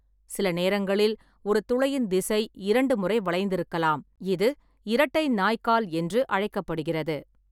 சில நேரங்களில், ஒரு துளையின் திசை இரண்டு முறை வளைந்திருக்கலாம்-இது 'இரட்டை நாய்கால்' என்று அழைக்கப்படுகிறது.